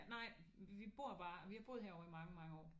Nej vi bor bare vi har boet herovre i mange mange år